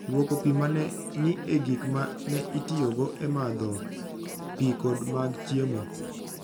Lwoko pi ma ne ni e gik ma ne itiyogo e madho pi kod mag chiemo.